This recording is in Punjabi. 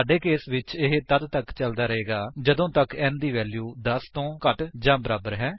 ਸਾਡੇ ਕੇਸ ਵਿੱਚ ਇਹ ਤੱਦ ਤੱਕ ਚੱਲਦਾ ਰਹੇਗਾ ਜਦੋਂ ਤੱਕ n ਦੀ ਵੈਲਿਊ 10 ਤੋਂ ਘੱਟ ਜਾਂ ਬਰਾਬਰ ਹੈ